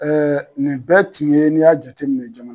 nin bɛɛ tun ye n'i y'a jate minɛ